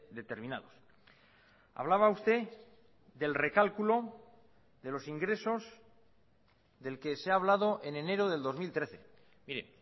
determinados hablaba usted del recálculo de los ingresos del que se ha hablado en enero del dos mil trece mire